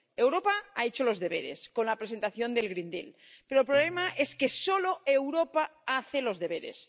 Europa ha hecho los deberes con la presentación del Green Deal pero el problema es que solo Europa hace los deberes.